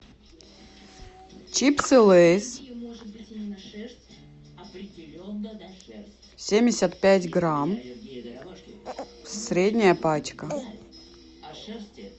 чипсы лейс семьдесят пять грамм средняя пачка